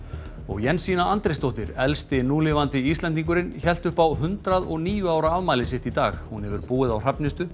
Jensína Andrésdóttir elsti núlifandi Íslendingurinn hélt upp á hundrað og níu ára afmæli sitt í dag hún hefur búið á Hrafnistu